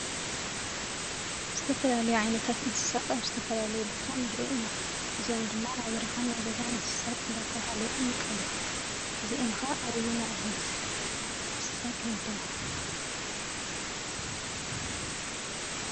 ዝተፈላለያ ዓይነት እንስሳት ኣብ ዝተፈላየ ቦታ ንሪኢ ኢና። እዚኦም ድማ ናይ በረኻን ናይ ገዛን እንስሳ እንዳተባሃሉ ይምቀሉ። እዚኤን ከ ኣበየናይ ዓይነት እንስሳት ይምደባ ?